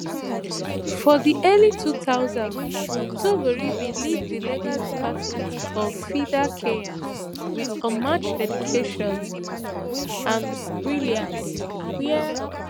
for di early two thousands thongori bin lead di legal department of fidakenya wit unmatched dedication and brilliance wia